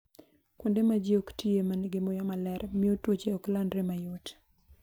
Kuonde ma ji ok tiye ma nigi muya maler miyo tuoche ok landre mayot.